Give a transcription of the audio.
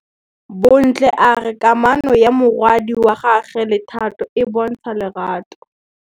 Bontle a re kamanô ya morwadi wa gagwe le Thato e bontsha lerato.